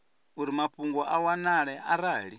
uri mafhungo a wanale arali